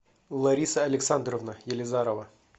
лариса александровна елизарова